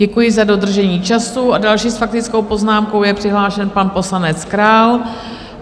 Děkuji za dodržení času a další s faktickou poznámkou je přihlášen pan poslanec Král.